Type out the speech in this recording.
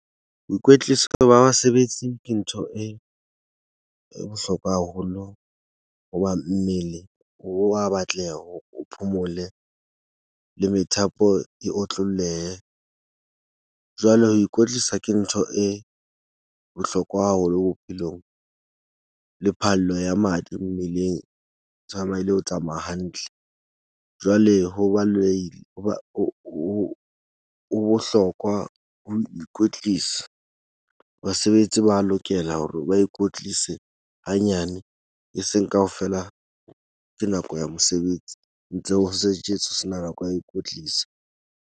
Boikwetliso ba basebetsi ke ntho e e bohlokwa haholo. Ho ba mmele wa batleha hore o phomole le methapo e otlollehe. Jwale ho ikwetlisa ke ntho e bohlokwa haholo bophelong le phallo ya madi mmeleng. Tsamaile ho tsamaya hantle jwale ho hoba ho bohlokwa ho ikwetlisa. Basebetsi ba lokela hore ba ikwetlise hanyane, e seng kaofela ke nako ya mosebetsi. ho sena nako ya ho ikwetlisa.